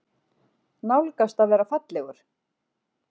Nálgast að vera fallegur.